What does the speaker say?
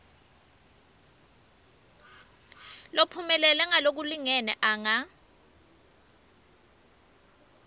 lophumelele ngalokulingene anga